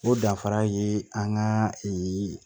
O danfara ye an ka